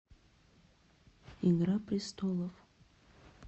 игра престолов